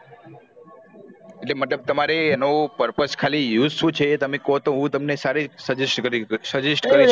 એટલે મતલબ તમારે એનો purpose ખાલી use શું છે તમે કહો તો હું તમને સારી suggest કરી સકું